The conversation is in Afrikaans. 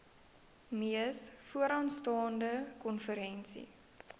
mees vooraanstaande konferensie